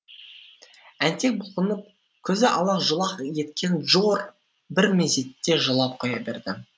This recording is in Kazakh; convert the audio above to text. әнтек бұлқынып көзі алақ жұлақ еткен джор бір мезетте жылап қоя берді